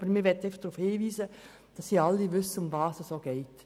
Aber wir möchten hier darauf hinweisen, damit alle wissen, worum es geht.